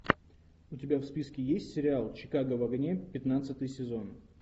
у тебя в списке есть сериал чикаго в огне пятнадцатый сезон